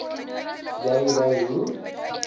jy ry hoe